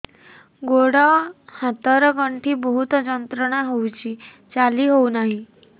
ଗୋଡ଼ ହାତ ର ଗଣ୍ଠି ବହୁତ ଯନ୍ତ୍ରଣା ହଉଛି ଚାଲି ହଉନାହିଁ